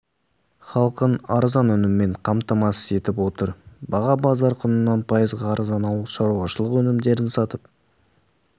халқын арзан өніммен қамтамасыз етіп отыр баға базар құнынан пайызға арзан ауыл шаруашылығы өнімдерін сатып